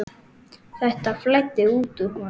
Þetta flæddi út úr honum.